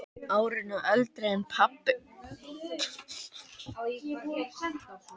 Árinu eldri en pabbi.